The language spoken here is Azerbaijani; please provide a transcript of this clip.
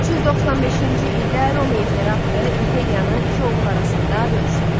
395-ci ildə Roma imperatoru imperiyanı iki oğul arasında bölüşdürdü.